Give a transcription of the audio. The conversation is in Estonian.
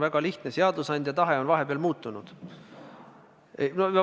Väga lihtne: seadusandja tahe on vahepeal muutunud.